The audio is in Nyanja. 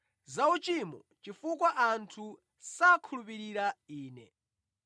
Za uchimo, chifukwa anthu sakhulupirira Ine.